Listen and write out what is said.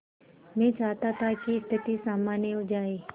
मैं चाहता था कि स्थिति सामान्य हो जाए